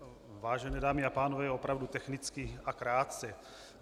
Vážené dámy a pánové, opravdu technicky a krátce.